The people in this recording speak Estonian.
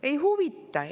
Ei huvita!